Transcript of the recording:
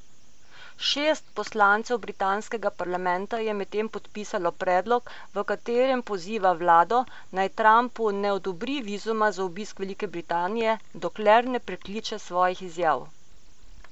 Šest poslancev britanskega parlamenta je medtem podpisalo predlog, v katerem poziva vlado, naj Trumpu ne odobri vizuma za obisk Velike Britanije, dokler ne prekliče svojih izjav.